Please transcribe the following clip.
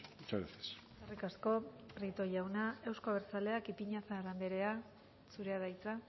muchas gracias eskerrik asko prieto jauna euzko abertzaleak ipiñazar andrea zurea da hitza